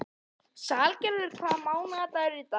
Salgerður, hvaða mánaðardagur er í dag?